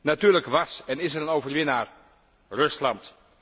Natuurlijk was en is er een overwinnaar Rusland.